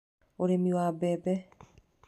Ũrĩmi wa mbembe.